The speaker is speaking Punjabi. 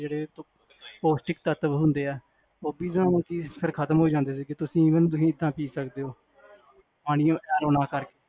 ਪੋਸ੍ਟਿਕ ਤਤਵ ਹੁੰਦੇ ਆ ਫੇਰ ਖਤਮ ਹੋਜਾਂਦੇ ਆ ਫੇਰ ਖਤਮ ਹੋਜਾਂਦੇ ਆ ਤੁਸੀਂ even ਸਕਦੇ ਹੋ